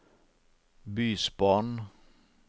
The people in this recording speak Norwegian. bysbarn